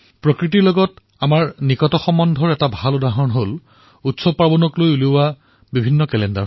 প্ৰকৃতিৰ সৈতে আমাৰ নিকট সম্বন্ধৰ এক উত্তম উদাহৰণ আছে সেয়া হল উৎসৱৰ ওপৰত আধাৰিত কেলেণ্ডাৰ